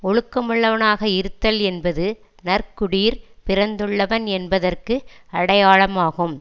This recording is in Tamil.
ஒழுக்கமுள்ளவனாக இருத்தல் என்பது நற்குடியிற் பிறந்துள்ளவன் என்பதற்கு அடையாளமாகும்